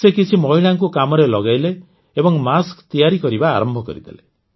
ସେ କିଛି ମହିଳାଙ୍କୁ କାମରେ ଲଗେଇଲେ ଏବଂ ମାସ୍କ ତିଆରି କରିବା ଆରମ୍ଭ କରିଦେଲେ